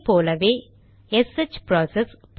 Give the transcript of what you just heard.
அதே போல SH process